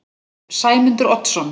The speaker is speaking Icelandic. Sæmundur Oddsson